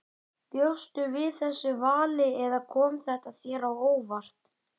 Bjóstu við þessu vali eða kom þetta þér á óvart?